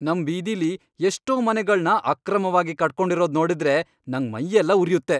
ನಮ್ ಬೀದಿಲಿ ಎಷ್ಟೋ ಮನೆಗಳ್ನ ಅಕ್ರಮವಾಗ್ ಕಟ್ಕೊಂಡಿರೋದ್ ನೋಡಿದ್ರೆ ನಂಗ್ ಮೈಯೆಲ್ಲ ಉರ್ಯುತ್ತೆ.